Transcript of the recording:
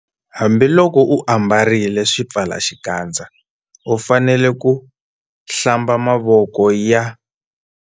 Hambiloko u ambarile xipfalaxikandza u fanele ku- Hlamba mavoko ya.